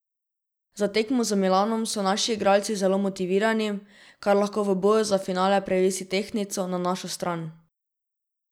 Za tekmo z Milanom so naši igralci zelo motivirani, kar lahko v boju za finale prevesi tehtnico na našo stran.